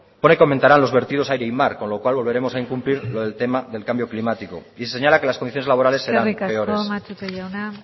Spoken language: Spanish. pone que aumentarán los vertidos a aire y mar con lo cual volveremos a incumplir lo del tema del cambio climático y se señala que las condiciones laborales serán peores eskerrik asko matute jauna